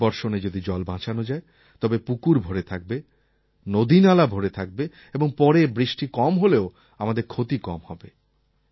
প্রথম বর্ষণে যদি জল বাঁচানো যায় তবে পুকুর ভরে থাকবে নদীনালা ভরে থাকবে এবং পরে বৃষ্টি কম হলেও আমাদের ক্ষতি কম হবে